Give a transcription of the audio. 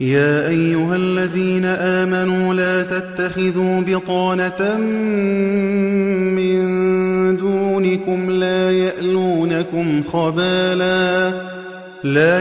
يَا أَيُّهَا الَّذِينَ آمَنُوا لَا تَتَّخِذُوا بِطَانَةً مِّن دُونِكُمْ لَا